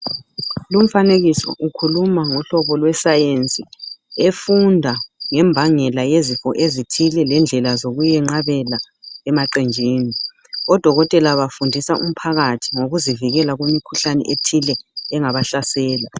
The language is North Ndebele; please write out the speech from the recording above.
Lumfanekiso ukhuluma ngohlobo lwe"science"efunda ngembangela yezifo ezithile lendlela zokuyinqabela emaqenjini odokotela bafundisa umphakathi ngokuzivikela kumikhuhlane ethile engabahlasela.